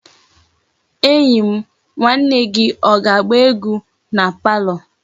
Enyi m nwanne o ga-agba egwu na palo?